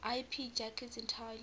ip packets entirely